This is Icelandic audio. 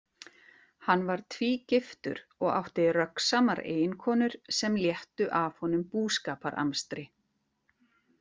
Hann var tvígiftur og átti röggsamar eiginkonur sem léttu af honum búskaparamstri.